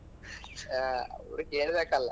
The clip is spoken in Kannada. ಆ ಅವ್ರು ಕೇಳ್ಬೇಕಲ್ಲ.